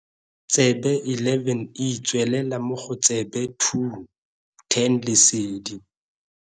Tsebe 11, e tswelela mo go tsebe 2, 10 Lesedi.